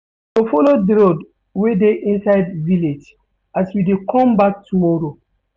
We go folo di road wey dey inside village as we dey come back tomorrow.